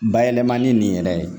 Bayɛlɛmani nin yɛrɛ ye